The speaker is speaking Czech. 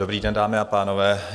Dobrý den, dámy a pánové.